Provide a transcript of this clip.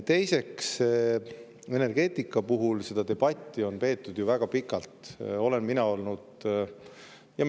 Teiseks, energeetika puhul on debatti peetud väga pikalt ja me jõuame seda veel ju pidada.